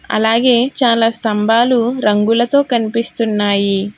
అలాగే చాలా స్తంబాలు రంగులతో కనిపిస్తున్నాయి.